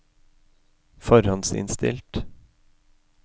forhåndsinnstilt